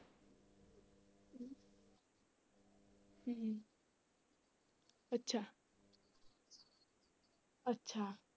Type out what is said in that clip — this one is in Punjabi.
ਹਮ ਅੱਛਾ ਅੱਛਾ।